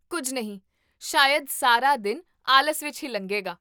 ਕੁੱਝ ਨਹੀਂ, ਸ਼ਾਇਦ ਸਾਰਾ ਦਿਨ ਆਲਸ ਵਿੱਚ ਹੀ ਲੰਘੇਗਾ